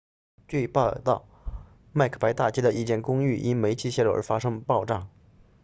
据报道麦克白大街 macbeth street 的一间公寓因煤气泄漏而发生爆炸